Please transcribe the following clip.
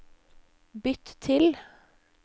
bytt til